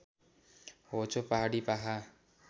होचो पहाडी पाखा